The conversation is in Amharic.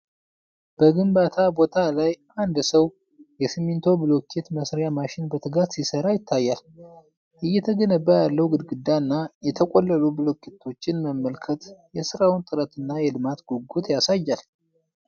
በግንባታ ቦታ ላይ አንድ ሰው የሲሚንቶ ብሎኬት መሥሪያ ማሽን በትጋት ሲሠራ ይታያል። እየተገነባ ያለውን ግድግዳ እና የተቆለሉ ብሎኬቶችን መመልከት የሥራውን ጥረትና የልማት ጉጉት ያሳያል።